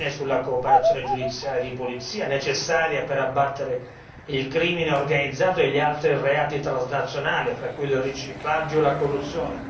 Bene sulla cooperazione giudiziaria di polizia necessaria per abbattere il crimine organizzato e gli altri reati transnazionali tra cui il riciclaggio e la corruzione